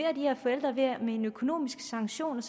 at med en økonomisk sanktion